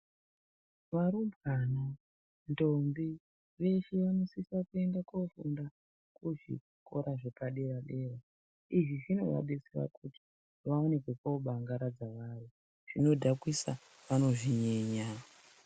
Varumbwana ndombi veshe vanosisa kuenda kufunda kuzvikora zvepadera-dera. Izvi zvinovabetsera kuti vaone kwekobangaradza vari zvinodhakisa vanozvinyenya.